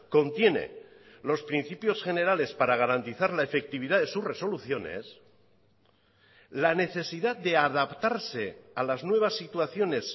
contiene los principios generales para garantizar la efectividad de sus resoluciones la necesidad de adaptarse a las nuevas situaciones